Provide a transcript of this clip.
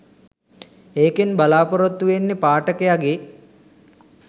ඒකෙන් බලාපොරොත්තු වෙන්නෙ පාඨකයගෙ